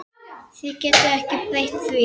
Þú getur ekki breytt því.